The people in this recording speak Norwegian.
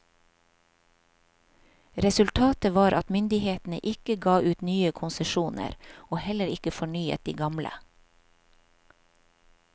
Resultatet var at myndighetene ikke ga ut nye konsesjoner, og heller ikke fornyet de gamle.